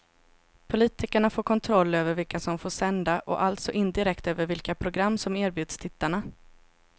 Politikerna får kontroll över vilka som får sända och alltså indirekt över vilka program som erbjuds tittarna.